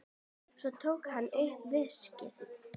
Svo tók hann upp veskið.